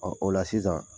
Ɔ o la sisan